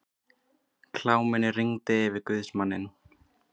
Kláminu rigndi yfir guðsmanninn.